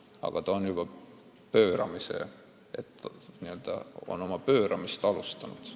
Aga ta on juba pööramist alustanud.